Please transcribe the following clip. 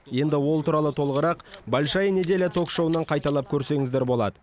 енді ол туралы толығырақ большая неделя ток шоуынан қайталап көрсеңіздер болады